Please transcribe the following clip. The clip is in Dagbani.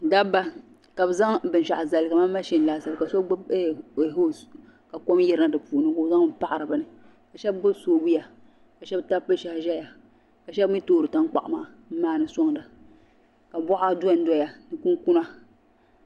Daba. ka bɛ zaŋ bin shaɣu zali kaman ma shin laasabu. kabɛ zaŋ zali ka so huoese. ka kom yirina di puuni kabɛ zaŋli n paɣiri bɛni ka shabi gbubi soobuya ka shabi tabi bɛ shɛhi ʒaya ka shabi mi toori tan kpaɣu maa n maani sɔŋda ka bɔɣa don doya ni kun kuna.